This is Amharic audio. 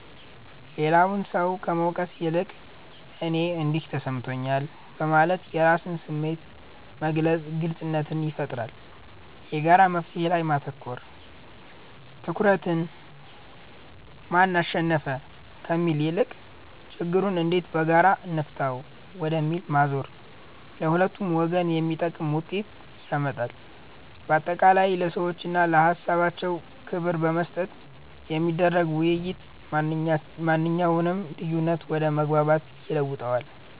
ሌላውን ሰው ከመውቀስ ይልቅ "እኔ እንዲህ ተሰምቶኛል" በማለት የራስን ስሜት መግለጽ ግልጽነትን ይፈጥራል። የጋራ መፍትሔ ላይ ማተኮር፦ ትኩረትን "ማን አሸነፈ?" ከሚለው ይልቅ "ችግሩን እንዴት በጋራ እንፍታው?" ወደሚለው ማዞር ለሁለቱም ወገን የሚጠቅም ውጤት ያመጣል። ባጠቃላይ፣ ለሰዎችና ለሃሳባቸው ክብር በመስጠት የሚደረግ ውይይት ማንኛውንም ልዩነት ወደ መግባባት ይለውጠዋል።